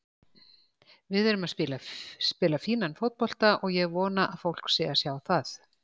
Við erum að spila fínan fótbolta og ég vona að fólk sé að sjá það.